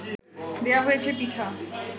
দেওয়া হয়েছে পিঠা